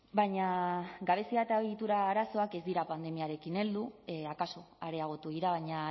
baina gabezia eta ohitura arazoak ez dira pandemiarekin heldu akaso areagotu dira baina